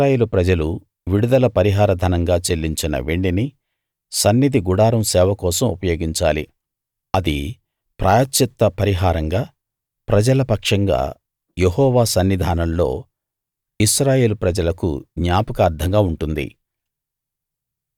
ఇశ్రాయేలు ప్రజలు విడుదల పరిహార ధనంగా చెల్లించిన వెండిని సన్నిధి గుడారం సేవ కోసం ఉపయోగించాలి అది ప్రాయశ్చిత్త పరిహారంగా ప్రజల పక్షంగా యెహోవా సన్నిధానంలో ఇశ్రాయేలు ప్రజలకు జ్ఞాపకార్ధంగా ఉంటుంది